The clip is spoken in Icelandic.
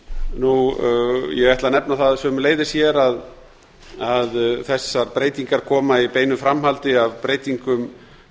ræðum um ég ætla að nefna það sömuleiðis hér að þessar breytingar koma í beinu framhaldi af breytingum